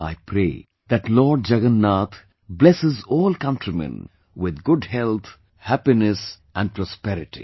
I pray that Lord Jagannath blesses all countrymen with good health, happiness and prosperity